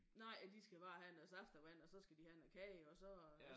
Nej og de skal bare have noget saftevand og så skal de have noget kage og så